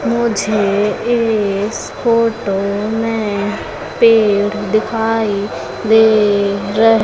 मुझे इस फोटो में पेड़ दिखाई दे रहे--